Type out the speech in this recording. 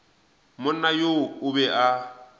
monna yoo o be a